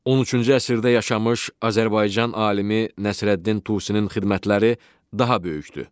13-cü əsrdə yaşamış Azərbaycan alimi Nəsrəddin Tusinin xidmətləri daha böyükdü.